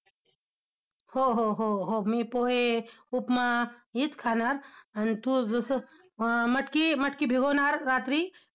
हो हो हो हो, मी पोहे, उपमा हेच खाणार! आन तू जसं अं मटकी, मटकी भिगवणार रात्री!